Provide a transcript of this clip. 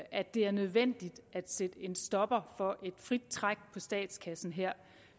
at det er nødvendigt at sætte en stopper for et frit træk på statskassen her